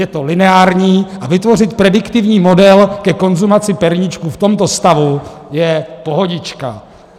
Je to lineární a vytvořit prediktivní model ke konzumaci perníčků v tomto stavu je pohodička.